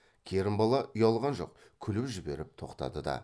керімбала ұялған жоқ күліп жіберіп тоқтады да